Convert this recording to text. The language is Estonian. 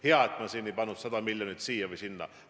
Hea, et ma ei pakkunud 100 miljonit siia või sinna.